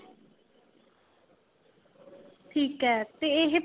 ਠੀਕ ਏ ਤੇ ਇਹ